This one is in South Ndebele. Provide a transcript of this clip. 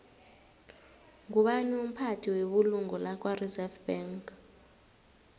ngubani umphathi webulungo lakwareserve bank